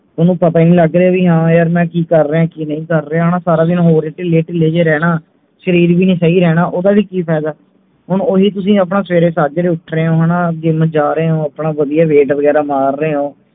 ਥੋਨੂੰ ਪਤਾ ਹੀ ਨਹੀਂ ਲੱਗ ਰਿਹੇ ਵੀ ਹਾਂ ਯਾਰ ਮੈਂ ਕਿ ਕਰ ਰਿਹੈਂ ਕਿ ਨਹੀਂ ਕਰ ਰਿਹਾ ਹਣਾ ਸਾਰਾ ਦਿਨ ਹੋਰ ਹੀ ਢਿਲੀਆਂ ਢਿਲੀਆਂ ਜਾ ਰਹਿਣਾ ਸ਼ਰੀਰ ਵੀ ਨਹੀਂ ਸਹੀ ਰਹਿਣਾ ਓਹਦਾ ਵੀ ਕਿ ਫਾਇਦਾ ਹੁਣ ਓਹੀ ਤੁਸੀਂ ਆਪਣਾ ਸਵੇਰੇ ਸੱਜਰੇ ਉੱਠ ਰਹੇ ਹੋ ਹਣਾ gym ਜਾ ਰਹੇ ਹੋ ਆਪਣਾ ਵਧੀਆ weight ਵਗੈਰਾ ਮਾਰ ਰਹੇ ਹੋ